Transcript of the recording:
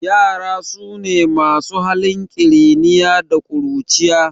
Ƴara sune masu halin kiriniya da ƙuruciya